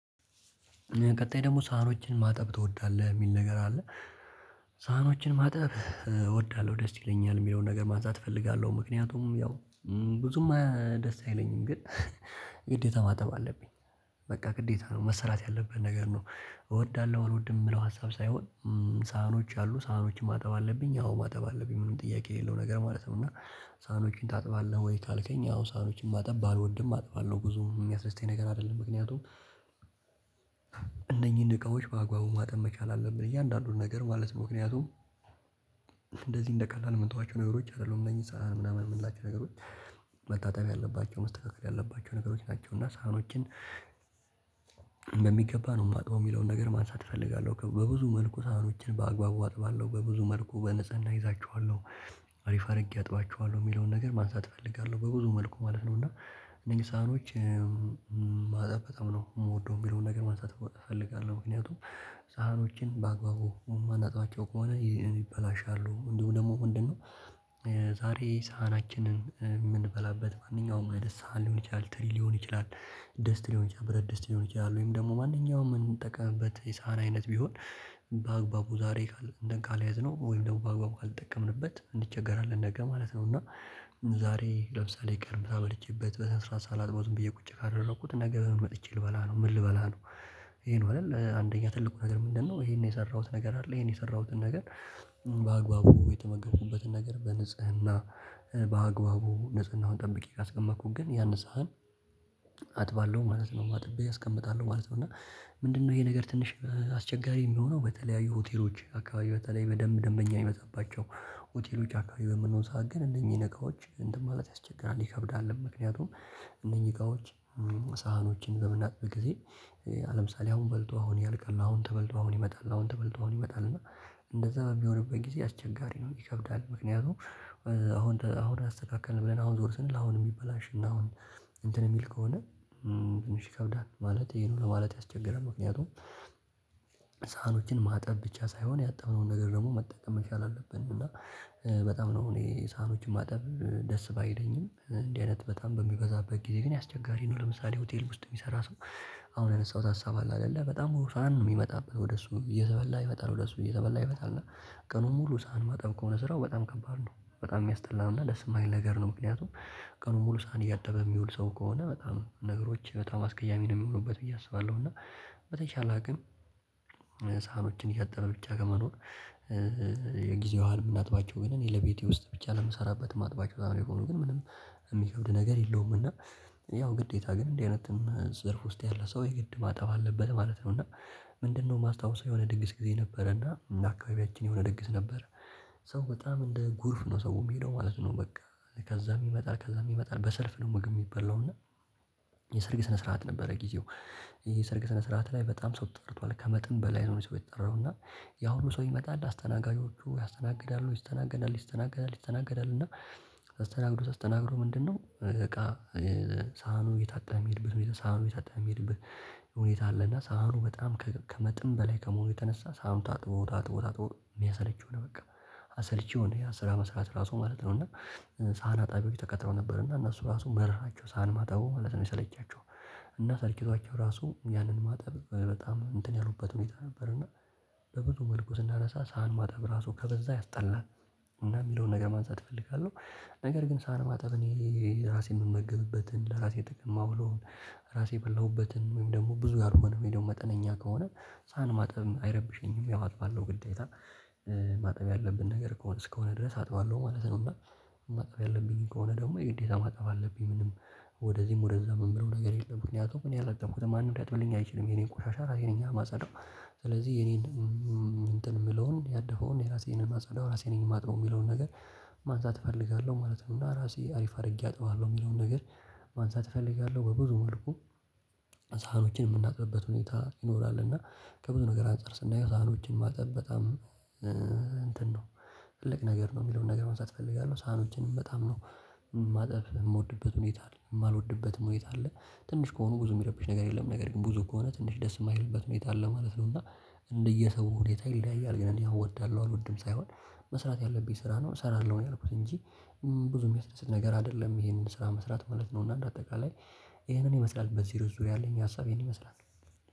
ቀጣይ ደግሞ ሳህኖችን ማጠብ ትወዳለህ የሚል ነገር አለ? ሳህኖችን ማጥብ እወዳለሁ ደስ ይለኛል የሆነ ነገር ነገር ማጽዳት እፈልጋለሁ። ምክንያቱም ያው ብዙም ደስ አይለኝም ግን ግዴታ ማጠብ አለብኝ። በቃ ግዴታ ነው መሰራት ያለብኝ ነገር ነው። እወዳለሁ አልወድም የምለው ሀሳብ ሳይሆን። ሳህኖች አሉ ሳህኖች ማጠብ አለብኝ አዎ ማጠብ አለብኝ ምንም ጥያቄ የለው ነገር ማለት ነው። እና ሳህኖችን ታጥባለህ ወይ ካልከኝ? ሳህኖችን ማጠብ ባልወድም አጥባለሁ ብዙ የሚያስደስተኝ ነገር አይደለም። ምክንያቱም እነኚህን እቃዎች በአጓቡ ማጠን መቻል አለብን እያንዳንዱን ነገር ማለት ምክንያቱም እንደዚህ እንደቀላል የምንጠዋቸው ነገሮች አይደሉም እነዚህ ሳህን ምናምን የምንላቸው ነገሮች። መታጠር ያለባቸው መስተካከል ያለባቸው ነገሮች ናቸው። እና ሳህኖችን ነው የማጥበው የሚለውን ነገር ማሳሳት እፈልጋለሁ። በብዙ መልኩ ሳህኖችን በአግባቡ አጥባለሁ በብዙ መልኩ በንጽህና እይዛቸዋለሁ። አሪፍ አድርጌ አጥባቸዋለሁ የሚለውን ነገር ማንሳት እፈልጋለሁ በብዙ መልኩ ማለት ነው። እና ሳህኖች ማጠብ በጣም ነው የምወደው የሚለውን ነገር ማንሳት እፈልጋለሁ። ምክንያቱም ሳህኖችን በአግባቡ ማናጥባቸው ከሆነ ይበላሻሉ ደግሞ ምንድነው? ዛሬ ሳህናችንን የምንበላበት ማንኛውም አይደል ሳህን ሊሆን ይችላል ትሪ ሊሆን ይችላል። ደስት ሊሆን ይችላል በረት ደስት ሊሆን ይችላል ወይም ደግሞ ማንኛውም የምንጠቀምበት የሳህን አይነት ቢሆን። በአግባቡ ዛሬ እጽድተን ካልያዝነው ወይም ደግሞ በአግባቡ አልጠቀምንበት እንዲቸገራለን ነገ ማለት ነው። እና ዛሬ ለምሳሌ ቀርብታ በልቼበት በስራ ሳላጥበው በየቁጭ ካደረኩት ነገ መጥቼ ልበላ ነው ምን ልበላ ነው? ይሄን ይዋልል አንደኛ ትልቁ ነገር ምንድነው? ይሄን የሰራሁት ነገር አለ ይሄን የሰራሁትን ነገር። በአግባቡ የተመገብኩበትን ነገር በንጽህና በአግባቡ ንጽህናውን ጠብቄ ካስቀመኩኝ ግን ያንን ሳህን አጥባለሁ ማለት ነው። አጥቤ አስቀምጣለሁ ማለት ነው። እና ምንድነው ይሄ ነገር ትንሽ አስቸጋሪ የሚሆነው በተለያዩ ሆቴሎች አካባቢ በተለይ በደንብ ደንበኛ የሚመጣባቸው። ሆቴሎች አካባቢ በምንሆን ሰዓት ግን እነኚህን እቃዎች እንትን ማለት ያስቸግራል ይከብዳል። ምክንያቱም እነኚህ እቃዎች ሳህኖችን በምናጥብ ጊዜ። አለምሳሌ አሁን በልቶ አሁን ያልቃል አሁን ተበልቶ አሁን ይመጣል አሁን ተበልቶ አሁን ይመጣል። እና እንደዛ በሚሆንበት ጊዜ አስቸጋሪ ነው ይከብዳል። ምክንያቱም አሁን አሁን አስተካከልን ብለን አሁን ዞርስን ለአሁን የሚበላሽ እና አሁን እንትን የሚል ከሆነ ዝም ሺህ ከብዳን ማለት ይሄ ነው። ለማለት ያስቸገረን ምክንያቱም ሳህኖቹን ማጠብ ብቻ ሳይሆን ያጠብነውን ነገር ደግሞ መጠቀም መቻል አለብን። እና በጣም ነው እኔ ሳህኖችን ማጠብ ደስ ባይለኝም እንዲህ አይነት በጣም በሚበዛበት ጊዜ ግን ያስቸጋሪ ነው ለምሳሌ ሆቴል ውስጥ የሚሰራ ሰው። አሁን ያነሳሁት ሀሳብ አለ አይደለ በጣም ውሳን ነው የሚመጣበት ወደ እሱ እየተበላ ይፈጣል ወደ እሱ እየተበላ ይፈጣል እና ቀኑን ሙሉ ሳህን ማጠብ ከሆነ ስራው በጣም ከባድ ነው። በጣም የሚያስጠላና ለስማኝ ነገር ነው። ምክንያቱም ቀኑን ሙሉ ሰዓት እያጠበ የሚውል ሰው ከሆነ በጣም ነገሮች በጣም አስቀያሚ ነው የሚሆኑበት ብዬ አስባለሁ። እና በተቻለ አቅም ሳሀኞችን ያጠበን ብቻ ከመኖር የጊዜዋን የምናጥባቸው ግን እኔ ለቤቴ ውስጥ ብቻ ለምሰራበት ማጥባቸው በጣም ነው የሚሆነው ግን ምንም የሚከብድ ነገር የለውም። እና ያው ግዴታ ግን እንደዚህ አይነት ዘርፍ ውስጥ ያለ ሰው የግድ ማጠብ አለበት ማለት ነው። እና ምንድነው ማስታወሻ የሆነ ድግስ ጊዜ ነበረ እና አካባቢያችን የሆነ ድግስ ነበር። ሰው በጣም እንደ ጎርፍ ነው ሰው የሚሄደው ማለት ነው። በቃ ከዛ ይመጣል ከዛ ይመጣል በሰልፍ ነው። ምግብ የሚበላው እና የሰርግ ስነ ስርዓት ነበረ። ጊዜው ይሄ ሰርግ ስነ ስርዓት ላይ በጣም ሰው ተጠርቷል ከመጠን በላይ ሰው የተጠራው። እና ያ ሁሉ ሰው ይመጣል አስተናጋጆቹ ያስተናግዳሉ ይስተናገዳል ይስተናገዳል ይስተናገዳል። እና ተስተናግዶ ተስተናግዶ ምንድነው እቃ? ሳህኑ የታጠህ የሚሄድብህ ሳህኑ የታጠህ የሚሄድብህ ሁኔታ አለና ሳምንቱ በጣም ከመጠን በላይ ከመሆኑ የተነሳ ሳህኑ ታጥቦ ታጥቦ ታጥቦ የሚያሰለችው ሆነ። በቃ አሰልቺ ሆነ ያን ስራ መስራት ራሱ ማለት ነው። እና ሳህን አጣቢው ተቀጥረው ነበር እና እነሱ ራሱ መረራቸው ሰሃን ማጠቡ ማለት ነው የሰለቻቸው። እና ሰልችቷቸው ራሱ ያንን ማጠብ በጣም እንትን ያሉበት ሁኔታ ነበር። እና በብዙ መልኩ ስናነሳ ሳህን ማጠብ ራሱ ከበዛ ያስጠላ። እና የሚለውን ነገር ማንሳት እፈልጋለሁ። ነገር ግን ሳንማጠብ እኔ ራሴን የምመገብበትን ለራሴ ጥቅም ብሎን ራሴ በላሁበትን ወይም ደግሞ ብዙ አልሆነም የሄደው መጠነኛ ከሆነ ሳን ማጠብም አይረብሸኝም ያዋጥባለሁ ግዴታ ማጠብ ያለብን ነገር ከሆነ እስከሆነ ድረስ አጥባለሁ ማለት ነው። እና ማጠብ ያለብኝ ከሆነ ደግሞ የግዴታ ማጥፋት አለብኝ ምንም ወደዚህም ወደዛም የምለው ነገር የለም። ምክንያቱም እኔ ያላጠብኩት ማንም ሊያጥብልኝ አይችልም የኔ ቆሻሻ ራሴ ነኝ የማጸዳው። ስለዚህ የኔን እንትን የምለውን ያደፈውን የራሴ ነኝ ማጸዳው ራሴ ነኝ የማጥበው ሚለውን ነገር። ማንሳት እፈልጋለሁ ማለት ነው። እና ራሴ አሪፍ አድርጌ አጥባለሁ የሚለውን ነገር። ማንሳት እፈልጋለሁ። በብዙ መልኩ ሳህኖችን የምናጥብበት ሁኔታ ይኖራል እና ከብዙ ነገር አንፃር ስናየው ሳህኖችን ማጠብ በጣም እንትን ነው። ትልቅ ነገር ነው የሚለውን ነገር መንሳት እፈልጋለሁ። ሳኖችንም በጣም ነው ማጠብ የምወድበት ሁኔታ አለ የማልወድበት ሁኔታ አለ። ትንሽ ከሆኑ ብዙ የሚረብሽ ነገር የለም ነገር ግን ብዙ ከሆነ ትንሽ ደስ የማይልበት ሁኔታ አለ ማለት ነው። እና እንደየሰው ሁኔታ ይለያያል። ግን እኔ አወድዳለሁ አልወድም ሳይሆን መስራት ያለብኝ ስራ ነው እሰራለሁ ነው ያልኩት እንጂ። ብዙም የሚያስደስት ነገር አይደለም ይሄንን ስራ መስራት ማለት ነው። እና አንድ አጠቃላይ ይሄንን ይመስላል በዚህ ርዕስ ዙሪያ አለኝ ያ ሀሳቤን ይመስላል።